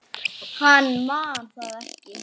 Hann man það ekki.